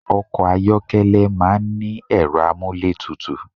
Ọkọ̀ ayọ́kẹ́lẹ̀ máà ń ní ẹ̀rọ amúlétutù